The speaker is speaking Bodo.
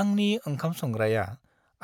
आंनि ओंखाम-संग्राया